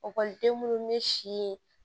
Ɔkɔliden munnu be si